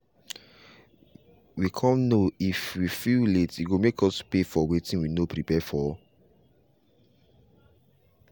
we come know if we fill late e go make us pay for wetin we no prepare for.